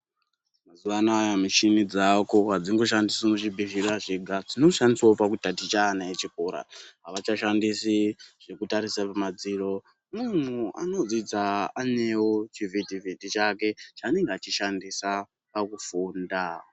Mazuwa anaya muchini dzaako adzingoshandiswi muzvibhedhlera zvega. Dzinoshandiswawo pakutaticha ana echikora. Avachashandisi zvekutarisa pamadziro , muntu anodzidza anewo chivhiti vhiti chake chaanenge achishandisa pakufunda..